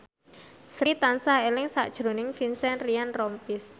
Sri tansah eling sakjroning Vincent Ryan Rompies